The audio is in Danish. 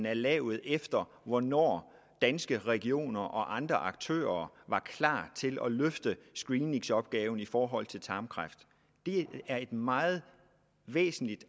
er lavet efter hvornår danske regioner og andre aktører var klar til at løfte screeningsopgaven i forhold til tarmkræft det er et meget væsentligt